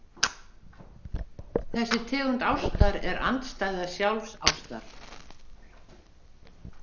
Þessi tegund ástar er andstæða sjálfsástar.